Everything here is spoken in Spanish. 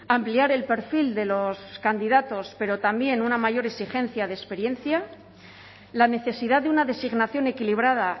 ampliar el perfil de los candidatos pero también una mayor exigencia de experiencia la necesidad de una designación equilibrada